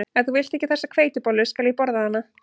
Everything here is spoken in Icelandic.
Ef þú vilt ekki þessa hveitibollu skal ég borða hana